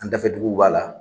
An dafɛ duguw b'a la.